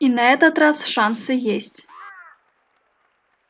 и на этот раз шансы есть